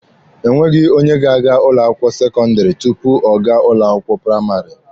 Enweghị onye ga-aga ụlọ akwụkwọ sekọndịrị tupu ọ gaa ụlọ akwụkwọ praịmarị.